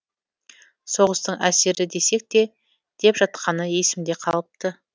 соғыстың әсері десек те деп жатқаны есімде қалыпты